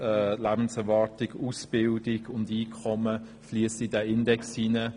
Lebenserwartung, Ausbildung und Einkommen fliessen in diesen Index ein.